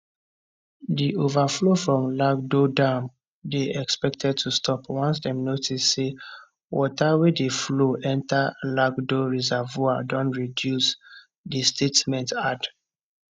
di overflow from lagdo dam dey expected to stop once dem notice say water wey dey flow enta lagdo reservoir don reduce di statement add